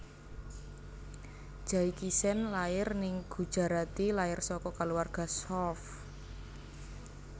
Jaikishen lair ning Gujarati lair saka kaluwarga Shroff